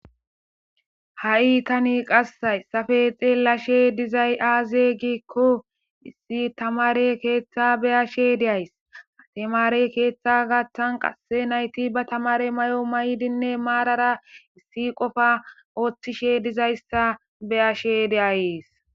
Ha,i tani hayisappe xelishe dizayi ayibe giko issi tamare ketha be,ashe dayis tamare ketha garsan qase nayiti ba tamare mayo mayidinne marara issi qofa otishe dizayisa be,ashe de,ayis